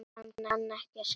Hann kann ekki að skrifa.